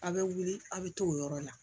A' bɛ wuli a' bɛ t'o yɔrɔ la